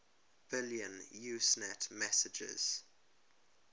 billion usenet messages